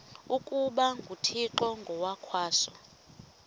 ukuba nguthixo ngokwaso